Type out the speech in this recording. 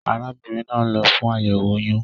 Arábínrin naa n lo fún àyèwò oyún